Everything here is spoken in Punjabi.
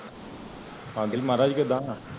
ਹਾਂਜੀ ਮਹਾਰਾਜ ਕੀਦਾ